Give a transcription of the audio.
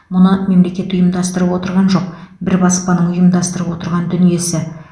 мұны мемлекет ұйымдастырып отырған жоқ бір баспаның ұйымдастырып отырған дүниесі